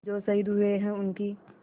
जो शहीद हुए हैं उनकी